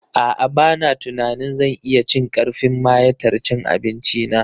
A'a ba na tunanin zan iya cin karfin mayatar cin abinci na